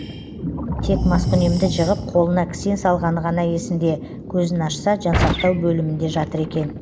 тек маскүнемді жығып қолына кісен салғаны ғана есінде көзін ашса жансақтау бөлімінде жатыр екен